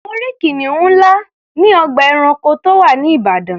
Mo rí kìnìún ńlá ní ọgbà ẹranko tó wà ní Ìbàdàn.